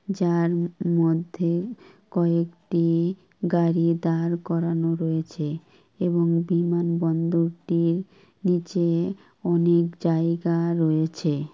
যার মধ্যে কয়েকটি গাড়ি দাঁড় করানো রয়েছে এবং বিমান বন্দরটির নীচে অনেক জায়গা রয়েছে।